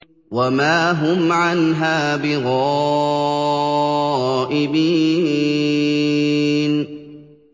وَمَا هُمْ عَنْهَا بِغَائِبِينَ